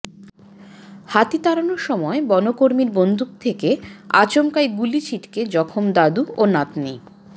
হাতি তাড়ানোর সময় বনকর্মীর বন্দুক থেকে আচমকাই গুলি ছিটকে জখম দাদু ও নাতনি